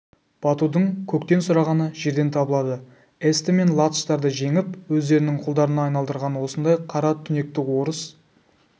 батудың көктен сұрағаны жерден табылады эсті мен латыштарды жеңіп өздерінің құлдарына айналдырған осындай қара түнекті орыс